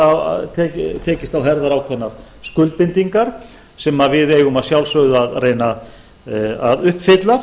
þar höfum við tekist á herðar ákveðnar skuldbindingar sem við eigum að sjálfsögðu að reyna að uppfylla